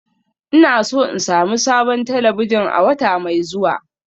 Ina so in sami sabon talabijin a wata mai zuwa